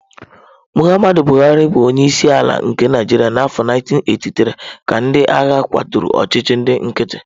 Muhammadu Buhari buru onye isi ala na Naijiria n'afọ 1983, ka ndị agha kwaturu ọchịchị ndị nkịtị.